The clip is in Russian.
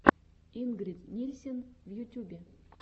ингрид нильсен в ютюбе